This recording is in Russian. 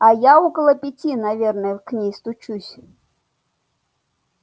а я около пяти наверное к ней стучусь